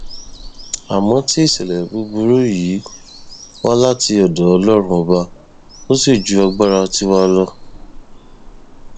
àmọ tí ìṣẹlẹ búburú yìí wá láti ọdọ ọlọrun ọba ò sì ju agbára tiwa lọ